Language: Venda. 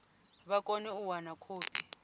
vha kone u wana khophi